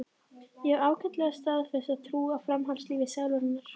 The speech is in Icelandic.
Ég hef ágæta og staðfasta trú á framhaldslífi sálarinnar.